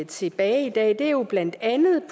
tilbage i dag er jo blandt andet